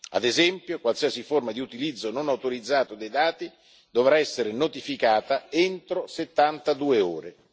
Ad esempio, qualsiasi forma di utilizzo non autorizzato dei dati dovrà essere notificata entro 72 ore.